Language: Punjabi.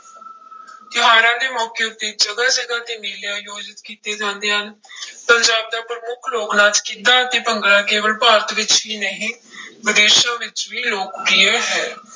ਤਿਉਹਾਰਾਂ ਦੇ ਮੌਕੇ ਉੱਤੇ ਜਗ੍ਹਾ ਜਗ੍ਹਾ ਤੇ ਮੇਲੇ ਆਯੋਜਿਤ ਕੀਤੇ ਜਾਂਦੇ ਹਨ ਪੰਜਾਬ ਦਾ ਪ੍ਰਮੁੱਖ ਲੋਕ ਨਾਚ ਗਿੱਧਾ ਅਤੇ ਭੰਗੜਾ ਕੇਵਲ ਭਾਰਤ ਵਿੱਚ ਹੀ ਨਹੀਂ ਵਿਦੇਸ਼ਾਂ ਵਿੱਚ ਵੀ ਲੋਕ ਪ੍ਰਿਯ ਹੈ।